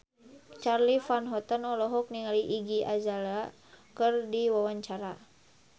Charly Van Houten olohok ningali Iggy Azalea keur diwawancara